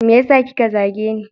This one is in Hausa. Meyasa kika zageni?